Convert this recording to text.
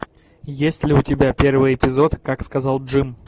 есть ли у тебя первый эпизод как сказал джим